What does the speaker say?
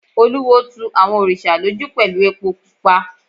Olúwo tu àwọn òrìṣà lójú pẹ̀lú epo pupa.